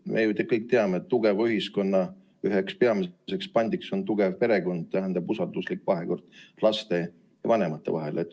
Me ju kõik teame, et tugeva ühiskonna üheks peamiseks pandiks on tugev perekond, usalduslik vahekord laste ja vanemate vahel.